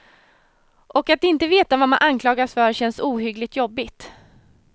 Och att inte veta vad man anklagas för känns ohyggligt jobbigt.